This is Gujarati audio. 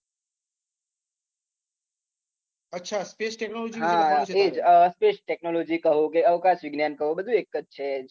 અચ્છા, સ્પેસ ટેક્નોલોજી વિશે. સ્પેસ ટેક્નોલોજી કહો કે, અવકાશ વિજ્ઞાન કહો. બધુ એક જ છે.